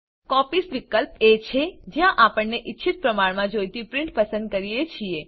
copies વિકલ્પ એ છે જ્યાં આપણે આપણને ઈચ્છિત પ્રમાણમાં જોઈતી પ્રીંટ પસંદ કરીએ છીએ